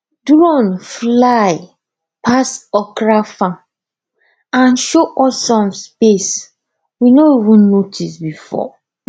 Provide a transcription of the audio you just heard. drone fly pass okra farm and show us some space we no even notice before